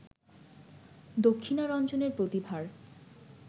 দক্ষিণারঞ্জনের প্রতিভার